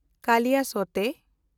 ᱠᱟᱞᱤᱭᱟᱥᱳᱛᱮ